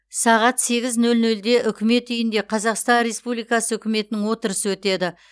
сағат сегіз нөл нөлде үкімет үйінде қазақстан республикасы үкіметінің отырысы өтеді